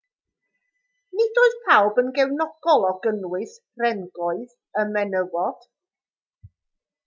nid oedd pawb yn gefnogol o gynnwys rhengoedd y menywod